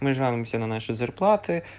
мы жалуемся наши зарплаты